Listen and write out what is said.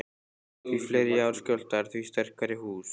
Því fleiri jarðskjálftar, því sterkari hús.